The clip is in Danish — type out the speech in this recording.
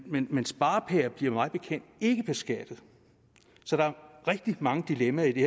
men men sparepærer bliver mig bekendt ikke beskattet så der er rigtig mange dilemmaer i det